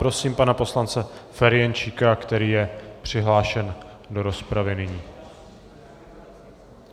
Prosím pana poslance Ferjenčíka, který je přihlášen do rozpravy nyní.